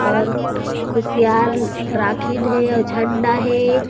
और ख़ुशियार राखिद हे आउ झंडा हे